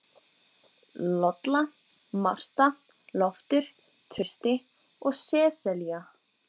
Lolla, Marta, Loftur, Trausti og Sesselía.